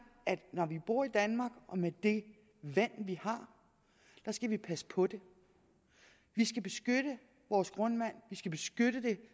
at vi når vi bor i danmark og med det vand vi har skal passe på det vi skal beskytte vores grundvand vi skal beskytte det